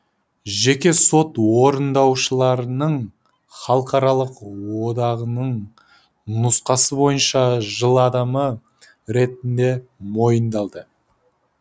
жеке сот орындаушыларының халықаралық одағының нұсқасы бойынша жыл адамы ретінде мойындалды